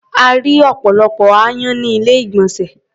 A rí́ ọ̀pọ̀lọpọ̀ aáyán ní ilé-ìgbọ̀nsè.